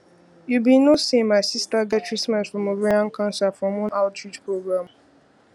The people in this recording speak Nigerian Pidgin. you be no say my sister get treatment from ovarian cancer from one outreach program